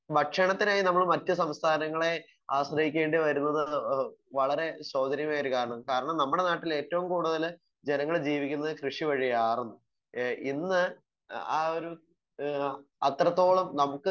Speaker 1 ഭക്ഷണത്തിനായി നമ്മള് മറ്റു സംസ്ഥാനങ്ങളെ ആശ്രയിക്കേണ്ടി വരുന്നത് ഒരു വളരെ ശോധനമേറിയ ഒരു കാര്യമാണ്. കാരണം നമ്മുടെ നാട്ടില് ഏറ്റവും കൂടുതൽ ജനങ്ങൾ ജീവിക്കുന്നത് കൃഷി വഴിയായിർന്നു. ഏഹ് ഇന്ന് ആഹ് ഒരു ഹ്മ് അത്രത്തോളം നമുക്ക്